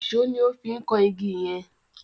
Ìṣó ni ó fi ń kan igi yẹn.